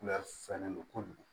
Kulɛri fɛlen don kojugu